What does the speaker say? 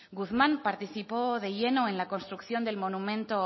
guzmán participó de lleno en la construcción del monumento